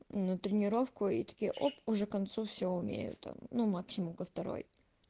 на тренировку и такие оп уже концу все умею там ну максимум ко второй